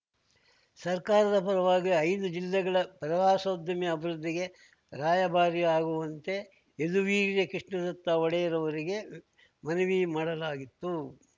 ಸರ್ಕಾರದ ಪರವಾಗಿ ಐದು ಜಿಲ್ಲೆಗಳ ಪ್ರವಾಸೋದ್ಯಮ ಅಭಿವೃದ್ಧಿಗೆ ರಾಯಭಾರಿ ಆಗುವಂತೆ ಯದುವೀರ್‌ ಕೃಷ್ಣದತ್ತ ಒಡೆಯರ್‌ ಅವರಿಗೆ ಮನವಿ ಮಾಡಲಾಗಿತ್ತು